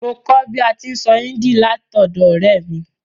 Mo kó bi a ti n sọ Hindi látọ̀dọ̀ ọ̀rẹ́ mi